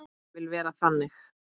Ég vil vera þannig.